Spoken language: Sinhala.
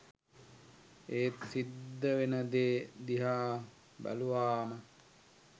ඒත් සිද්ද වෙන දේ දිහා බැලුවාම